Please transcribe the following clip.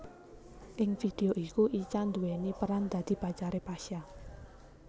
Ing vidéo iku Icha nduwèni peran dadi pacaré Pasha